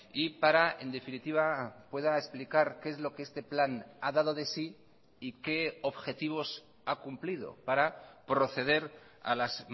y para en definitiva pueda explicar qué es lo que este plan ha dado de sí y qué objetivos ha cumplido para proceder a las